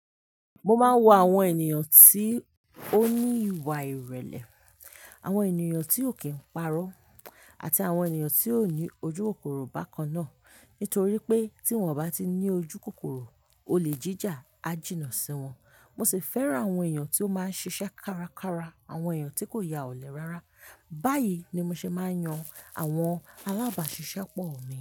Mo máa ń wo àwọn ènìyàn tí ó ní ìwà ìrẹ̀lẹ̀, àwọn ènìyàn tí ò kí n parọ́ àti àwọn ènìyàn tí ò ní ojúkòkòrò bákan náà. Nítorí pé tí wọ́n bá ti ní ojúkòkòrò, olè jíjà á jìnnà sí wọn. Mo sì fẹ́ran àwọn ènìyàn tí ó máa ń ṣiṣẹ́ kárakára, àwọn ènìyàn tí kò ya ọ̀lẹ rárá. Báyìí ni mo ṣe máa ń yan àwọn alábàáṣiṣẹ́ pọ̀ mi.